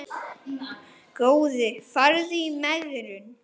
Góði farðu í megrun.